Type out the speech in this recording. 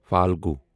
فالگو